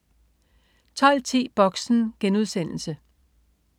12.10 Boxen